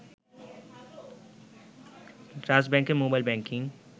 trust ব্যাংকের mobile banking